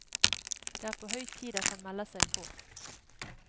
Det er på høy tid at han melder seg på.